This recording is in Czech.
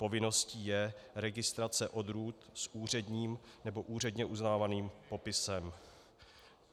Povinností je registrace odrůd s úředním nebo úředně uznávaným popisem.